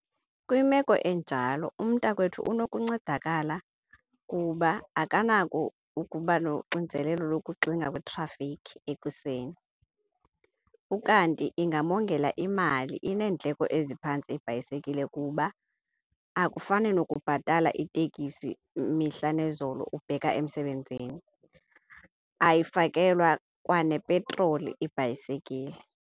Kwimeko enjalo umntakwethu nokuncedakala kuba akanako ukuba noxinzelelo lokuxinga kwitrafikhi ekuseni ukanti ingamongela imali. Ineendleko eziphantsi ibhayisekile kuba akufani nokubhatala itekisi mihla nezolo ubheka emsebenzini. Ayifakelwa kwanepetroli ibhayisekile.